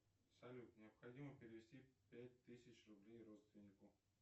салют необходимо перевести пять тысяч рублей родственнику